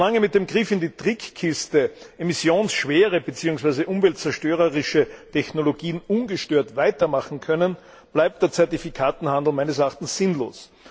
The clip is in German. So lange mit dem Griff in die Trickkiste emissionsschwere beziehungsweise umweltzerstörerische Technologien ungestört weitermachen können, bleibt der Zertifikatehandel meines Erachtens sinnlos.